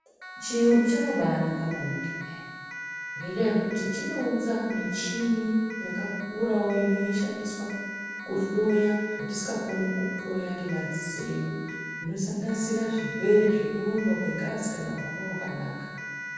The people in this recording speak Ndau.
Chiyungu chakabai naka maningi peya ngenda yekuti chino unza michini yaka kurawo ino shandiswa ku hloya zvatisika koni ku hloya nge madziso edu zvino sanganisira zvirwere zveku rumba kwe ngazi kana kuhamba kwakanaka.